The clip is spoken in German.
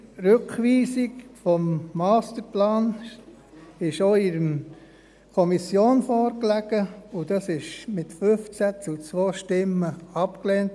Die Rückweisung des Masterplans lag auch in der Kommission vor, und diese wurde mit 15 zu 2 Stimmen abgelehnt.